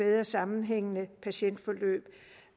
mere sammenhængende patientforløb